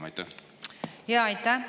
Aitäh!